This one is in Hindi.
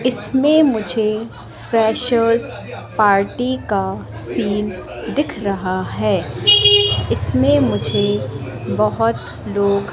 इसमें मुझे फ्रेशर्स पार्टी का सीन दिख रहा है इसमें मुझे बहोत लोग --